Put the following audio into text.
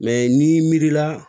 Mɛ n'i mi miiri la